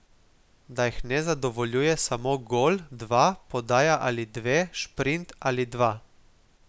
Da jih ne zadovoljuje samo gol, dva, podaja ali dve, šprint ali dva ...